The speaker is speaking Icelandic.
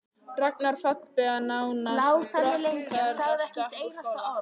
Rangar fallbeygingar nánast brottrekstrarsök úr skóla.